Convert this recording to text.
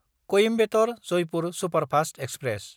Coimbatore-Jaipur superfast express